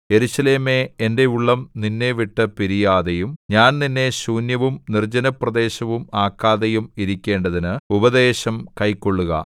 യെരൂശലേമേ എന്റെ ഉള്ളം നിന്നെ വിട്ടുപിരിയാതെയും ഞാൻ നിന്നെ ശൂന്യവും നിർജ്ജനപ്രദേശവും ആക്കാതെയും ഇരിക്കേണ്ടതിന് ഉപദേശം കൈക്കൊള്ളുക